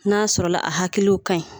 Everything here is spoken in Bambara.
N'a sɔrɔla a hakiliw kaɲi